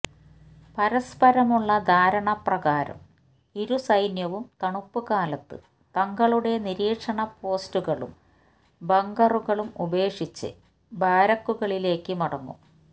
പരസ്പരമുള്ള ധാരണ പ്രകാരം ഇരുസൈന്യവും തണുപ്പുകാലത്ത് തങ്ങളുടെ നിരീക്ഷണ പോസ്റ്റുകളും ബങ്കറുകളും ഉപേക്ഷിച്ച് ബാരക്കുകളിലേക്ക് മടങ്ങും